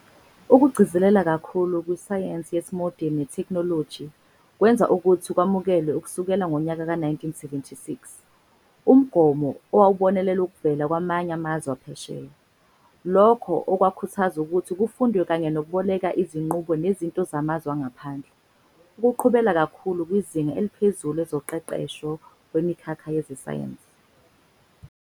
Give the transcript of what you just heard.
Ukugcizelela kakhulu kwisayense yesimodeni netheknoloji, kwenza ukuthi kwamukelwe, ukusukela ngonyaka ka 1976, umgomo owawubonelela okuvela kwamanye amazwe aphesheya, lokhu okwakhuthaza ukuthi kufundwe kanye nokuboleka izinqubo nezinto zamazwe angaphandle, ukuqhubela kakhulu kwizinga eliphezulu ezoqeqesho, kwimikhakha yezesayense.